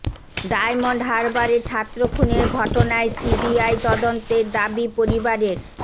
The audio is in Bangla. ডায়মন্ড হারবারে ছাত্র খুনের ঘটনায় সিবিআই তদন্তের দাবি পরিবারের